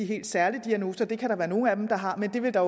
helt særlige diagnoser det kan der være nogle af dem der har men det vil der